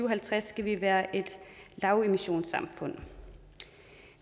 og halvtreds skal vi være et lavemissionssamfund